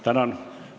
Tänan!